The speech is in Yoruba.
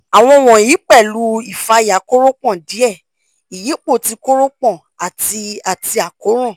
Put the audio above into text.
awọn wọnyi pẹlu ifaya koropon die (iyipo ti koropon) ati ati àkóràn